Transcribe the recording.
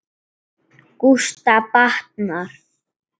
Gústa batnar.